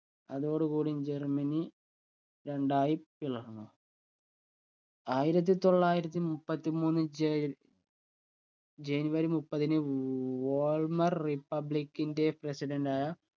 അതോടുകൂടിയും Germany രണ്ടായി പിളർന്നു ആയിരത്തി തൊള്ളായിരത്തി മുപ്പത്തി മൂന്ന് ജയ് ജനുവരി മുപ്പതിന് വോൾമർ republic ന്റെ